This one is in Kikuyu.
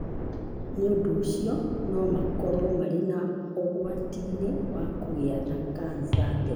Nĩ ũndũ ũcio, no makorũo marĩ ũgwati-inĩ wa kũgĩa na kanca tene.